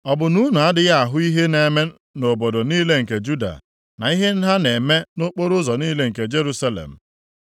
Ọ bụ na unu adịghị ahụ ihe na-eme nʼobodo niile nke Juda, na ihe ha na-eme nʼokporoụzọ niile nke Jerusalem?